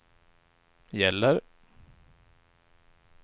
gäller